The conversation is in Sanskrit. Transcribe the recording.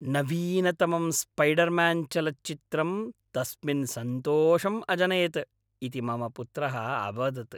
नवीनतमं स्पैडर्म्यान्चलच्चित्रं तस्मिन् सन्तोषम् अजनयत् इति मम पुत्रः अवदत्।